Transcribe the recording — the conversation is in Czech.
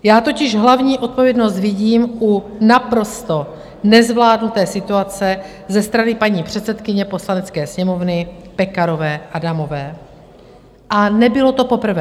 Já totiž hlavní odpovědnost vidím u naprosto nezvládnuté situace ze strany paní předsedkyně Poslanecké sněmovny Pekarové Adamové, a nebylo to poprvé.